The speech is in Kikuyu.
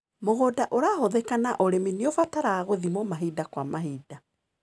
Mũgũnda ũrahũthika na ũrĩmi nĩũbataraga gũthimwo mahinda kwa mahinda.